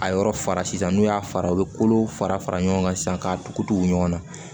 A yɔrɔ fara sisan n'u y'a fara u bɛ kolow fara fara ɲɔgɔn kan sisan k'a tugutugu ɲɔgɔn na